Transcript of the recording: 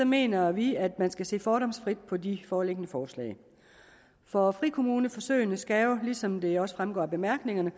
mener vi at man skal se fordomsfrit på de foreliggende forslag for frikommuneforsøgene skal jo ligesom det også fremgår af bemærkningerne